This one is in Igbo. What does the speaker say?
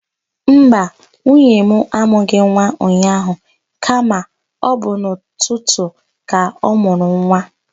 Mba, nwunye mụ amụghị nwa ụnyaahụ kama ọ bụ n'ụtụtụ a ka ọ mụrụ nwa.